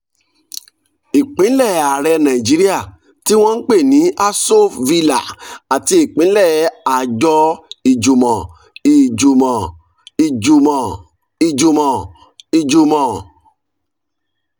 ìpínlé ààrẹ nàìjíríà tí wọ́n ń pè ní aso villa àti ìpínlé àjọ ìjùmọ̀ ìjùmọ̀ ìjùmọ̀ ìjùmọ̀ ìjùmọ̀